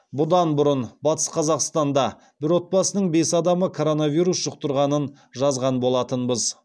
бұдан бұрын батыс қазақстанда бір отбасының бес адамы коронавирус жұқтырғанын жазған болатынбыз